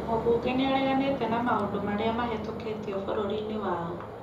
Mũbunge nĩareganĩte na maũndũ marĩa mahetũkĩtio bũrũri-inĩ wao